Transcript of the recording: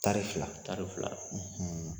Tari fila tari fila